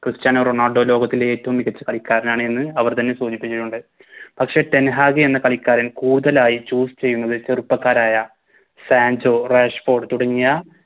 Cristiano Ronaldo ലോകത്തിലെ ഏറ്റോം മികച്ച കളിക്കാരനാണ് എന്ന് അവർ തന്നെ സൂചിപ്പിച്ചിട്ടുണ്ട് പക്ഷെ ടെൻ ഹാഗ് എന്ന കളിക്കാരൻ കൂടുതലായി Choose ചെയ്യുന്നത് ചെറുപ്പക്കാരായ സാൻചോ റാഷ്‌ഫോർഡ് തുടങ്ങിയ